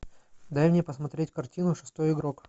дай мне посмотреть картину шестой игрок